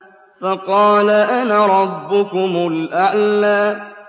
فَقَالَ أَنَا رَبُّكُمُ الْأَعْلَىٰ